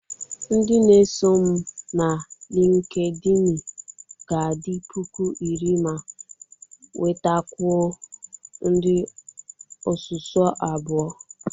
Ndị na-eso m na LịnkedỊnị ga-adị puku iri ma nwetakwuo ndị osuso abụọ.